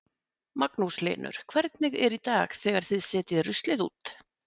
Magnús Hlynur: Hvernig er í dag þegar þið setjið ruslið út?